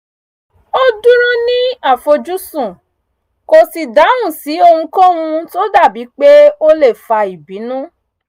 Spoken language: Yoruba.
ó dúró ní àfojúsùn kò sì dáhùn sí ohunkóhun tó dàbí pé ó lè fa ìbínú